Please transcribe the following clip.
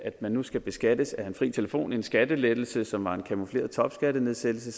man nu skal beskattes af fri telefon en skattelettelse som er en camoufleret topskattenedsættelse